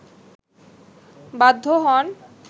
বাধ্য হন